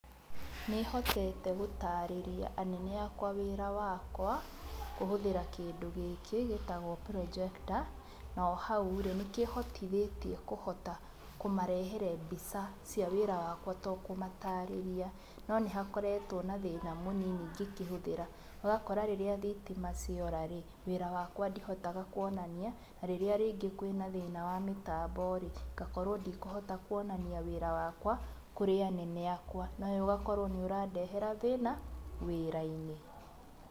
Nĩhotete gũtarĩria anene akwa wĩra wakwa, kũhũthĩra kĩndũ gĩkĩ gĩtagwo projector. Na ohau-rĩ, nĩkĩhotithĩtie kũhota kũmarehera mbica cia wĩra wakwa tokũmatarĩria. No nĩhakoretwo na thĩna mũnini ngĩkĩhũthĩra, ũgakora rĩrĩa thitima ciora-rĩ, wĩra wakwa ndihotaga kuonania, na rĩrĩa rĩngĩ kwĩna thĩna wa mĩtambo, ngakorwo ndikũhota kuonania wĩra wakwa, kũrĩ anene akwa. Na ũũ ũgakorwo nĩ ũrandehera thĩna wĩra-inĩ.